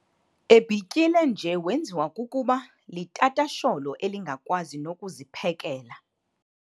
Ebhityile nje wenziwa kukuba litatasholo elingakwazi nokuziphekela.